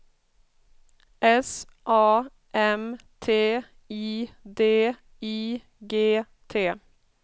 S A M T I D I G T